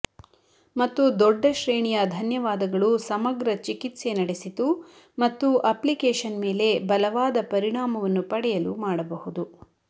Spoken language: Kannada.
ಮತ್ತು ದೊಡ್ಡ ಶ್ರೇಣಿಯ ಧನ್ಯವಾದಗಳು ಸಮಗ್ರ ಚಿಕಿತ್ಸೆ ನಡೆಸಿತು ಮತ್ತು ಅಪ್ಲಿಕೇಶನ್ ಮೇಲೆ ಬಲವಾದ ಪರಿಣಾಮವನ್ನು ಪಡೆಯಲು ಮಾಡಬಹುದು